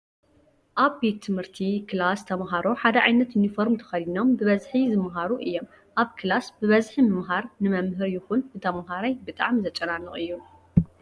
ኣብ ቤት ትምህርቲ ክላስ ተማሃሮ ሓደ ዓይነት ዩኒፎርም ተከዲኖም ብበዝሒ ዝማሃሩ እዮም። ኣብ ክላስ ብበዝሒ ምምሃር ንመምህር ይኩን ንተማሃራይ ብጣዕሚ ዘጨናንቅ እዩ ።